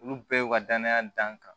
Olu bɛɛ y'u ka danaya dan kan